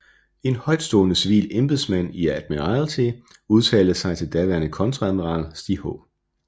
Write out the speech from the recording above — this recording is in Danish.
En højtstående civil embedsmand i Admiralty udtalte til daværende kontreadmiral Stig H